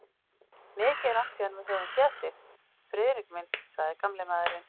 Mikið er langt síðan við höfum séð þig, Friðrik minn sagði gamli maðurinn.